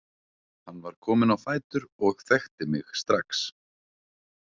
Hann var kominn á fætur og þekkti mig strax.